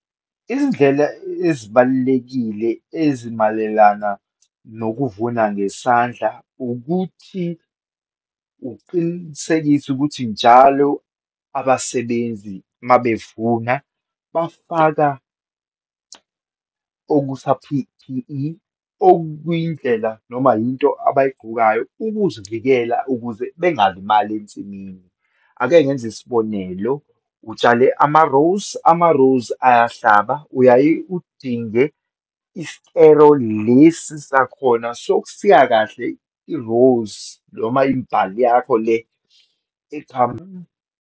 Izindlela ezibalulekile ezimalelana nokuvuna ngesandla, ukuthi uqinisekise ukuthi njalo abasebenzi uma bevuna bafaka okusa-P_P_E, okuyindlela noma yinto abayigqokayo ukuzivikela ukuze bengalimali ensimini. Ake ngenze isibonelo, utshale ama-rose, ama-rose ayahlaba. Uyaye udinge isikero lesi sakhona sokusika kahle i-rose, noma imbali yakho le .